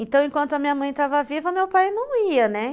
Então, enquanto a minha mãe estava viva, meu pai não ia, né?